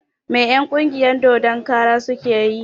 Me en ƙungiyar dodon kara suke yi?